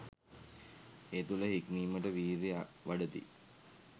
ඒ තුළ හික්මීමට වීර්යය වඩති.